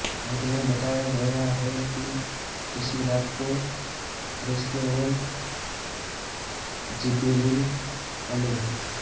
अन्त में बताया गया है कि इसी रात को फ़रिश्ते और जिबरील अलै